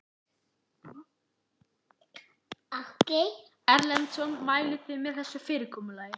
Ásgeir Erlendsson: Mælið þið með þessu fyrirkomulagi?